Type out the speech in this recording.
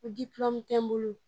Ko tɛ n bolo.